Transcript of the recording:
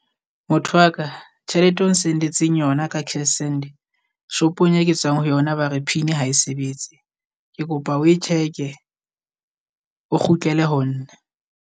Motho wa ka tjhelete o n-send-etseng yona ka cashsend, shop-ong e tswang ho yona ba re pin ha e sebetse. Ke kopa oe check-e o kgutlele ho nna.